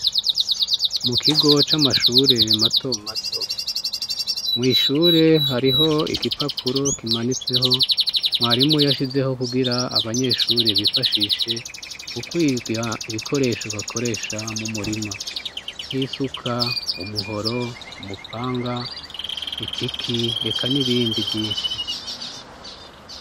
Mu kigo c'amashure matomato mwishure hariho igipapuro kimanitseho mwarimu yashizeho kugira abanyeshure bifashishe mu kwiga ibikoresho bakoresha mu murima nk'isuka umuhoro umupanga ipiki eka n'ibindi vyinshi.